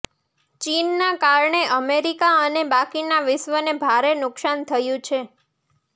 ચીનના કારણે અમેરિકા અને બાકીના વિશ્વને ભારે નુકસાન થયું છે